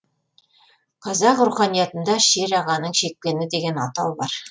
қазақ руханиятында шер ағаның шекпені деген атау бар